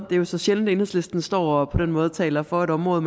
er jo så sjældent at enhedslisten står og på den måde taler for det område